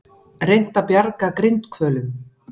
Reynt að bjarga grindhvölum